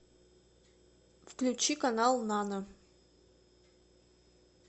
включи канал нано